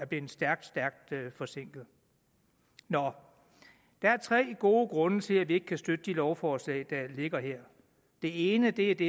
blevet stærkt stærkt forsinket nå der er tre gode grunde til at vi ikke kan støtte det lovforslag der ligger her det ene er det